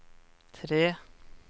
tre